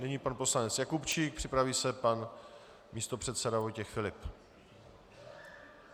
Nyní pan poslanec Jakubčík, připraví se pan místopředseda Vojtěch Filip.